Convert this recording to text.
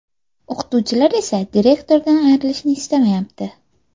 O‘qituvchilar esa direktordan ayrilishni istamayapti.